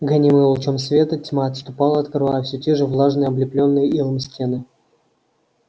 гонимая лучом света тьма отступала открывая все те же влажные облепленные илом стены